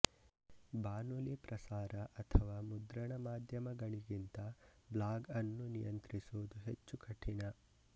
ಬಾನುಲಿ ಪ್ರಸಾರ ಅಥವಾ ಮುದ್ರಣ ಮಾಧ್ಯಮಗಳಿಗಿಂತ ಬ್ಲಾಗ್ ಅನ್ನು ನಿಯಂತ್ರಿಸುವುದು ಹೆಚ್ಚು ಕಠಿಣ